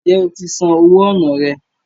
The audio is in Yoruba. Ǹjẹ́ o ti san owó ọnà rẹ?